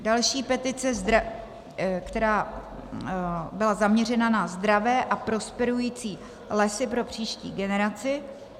Další, petice, která byla zaměřena na zdravé a prosperující lesy pro příští generaci.